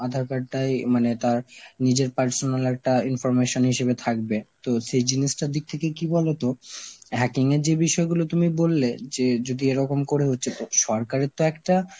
আধার card টাই মানে তার নিজের personal একটা information হিসেবে থাকবে, তো সেই জিনিসটা দিক থেকে কি বলতো hacking এর যেই বিষয়গুলো তুমি বললে যে যদি এরকম করে হচ্ছে তো সরকারের তো একটা